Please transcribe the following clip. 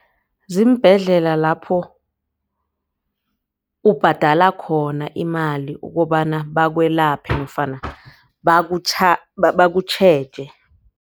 Ziimbhedlela lapho ubhadala khona imali ukobana bakwelapha nofana bakutjheje.